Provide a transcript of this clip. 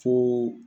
Fo